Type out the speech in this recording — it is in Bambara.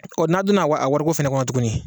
n'a donna a wari ko fɛnɛ kɔnɔ tuguni